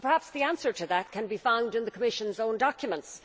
Perhaps the answer to that can be found in the Commission's own documents.